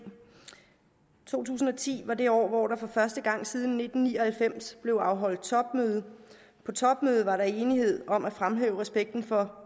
to tusind og ti var det år hvor der for første gang siden nitten ni og halvfems blev afholdt topmøde på topmødet var der enighed om at fremhæve respekten for